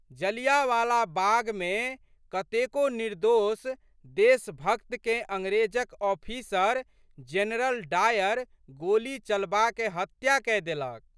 जालियाँवाला बागमे कतेको निर्दोष देशभक्तकेँ अंग्रेजक ऑफीसर जेनरल डायर गोली चलबाकए हत्या कए देलक।